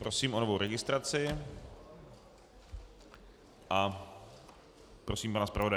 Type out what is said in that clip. Prosím o novou registraci a prosím pana zpravodaje.